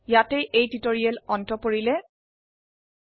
ইয়াতে লাইব্ৰঅফিছ ড্ৰৰ এই টিউটোৰিয়ালটি সমাপ্ত হল